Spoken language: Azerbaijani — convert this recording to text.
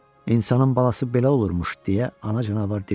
İnsanın balası belə olurmuş, deyə ana canavar dilləndi.